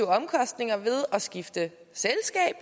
omkostninger ved at skifte selskab